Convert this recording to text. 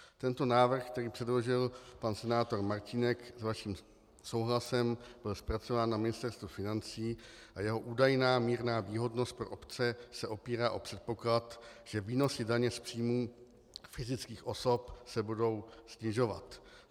Tento návrh, který předložil pan senátor Martínek s vaším souhlasem, byl zpracován na Ministerstvu financí a jeho údajná mírná výhodnost pro obce se opírá o předpoklad, že výnosy daně z příjmu fyzických osob se budou snižovat.